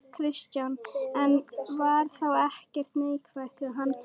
Kristján: En var þá ekkert neikvætt við hana?